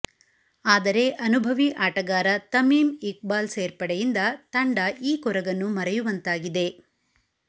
ಆದರೆ ಅನುಭವಿ ಆಟಗಾರ ತಮೀಮ್ ಇಕ್ಬಾಲ್ ಸೇರ್ಪಡೆಯಿಂದ ತಂಡ ಈ ಕೊರಗನ್ನು ಮರೆಯುವಂತಾಗಿದೆ